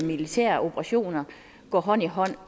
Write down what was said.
militære operationer går hånd i hånd